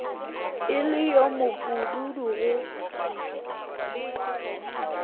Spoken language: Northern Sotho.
e le yo mopududu go